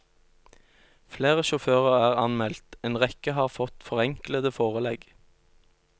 Flere sjåfører er anmeldt, en rekke har fått forenklede forelegg.